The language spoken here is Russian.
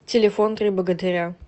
телефон три богатыря